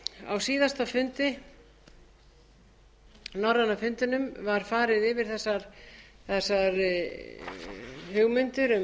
á síðasta fundi norræna fundinum var farið yfir þessar hugmyndir um